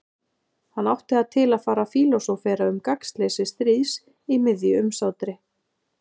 Hann átti það til að fara að fílósófera um gagnsleysi stríðs í miðju umsátri.